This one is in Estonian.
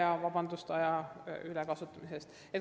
Palun vabandust, et ajast üle läksin!